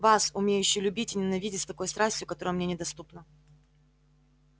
вас умеющую любить и ненавидеть с такой страстью которая мне недоступна